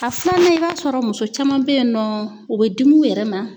A filanan i b'a sɔrɔ muso caman be yen nɔ, u be dimi u yɛrɛ ma.